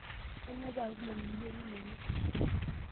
Kanyoo paa kumok irkiyo linonok?